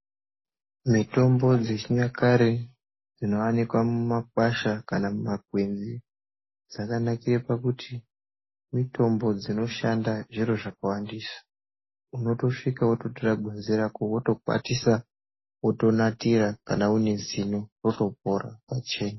Mitombo dzechi nyakare dzino wanikwa mu makwasha kana mu makwenzi dzakanakira pakuti mitombo dzino shanda zviro zvakawandisa unotosvika woto tora ngwenzi rako woto kwatisa woto natira kana une zino roto pora pachena.